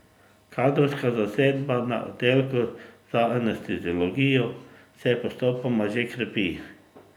Kadrovska zasedba na oddelku za anesteziologijo se postopno že krepi.